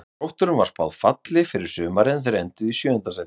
Þrótturum var spáð falli fyrir sumarið en þeir enduðu í sjöunda sæti.